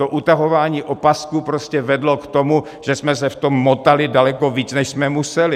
To utahování opasků prostě vedlo k tomu, že jsme se v tom motali daleko víc, než jsme museli.